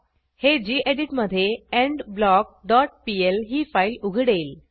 हे गेडीत मधे एंडब्लॉक डॉट पीएल ही फाईल उघडेल